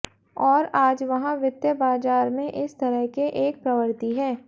और आज वहाँ वित्तीय बाजार में इस तरह के एक प्रवृत्ति है